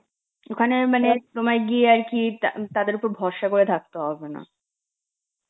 ওখানে মানে অনেক সময় গিয়ে আর কি তা~ তাদের ওপর ভরসা করে থাকতে হবে না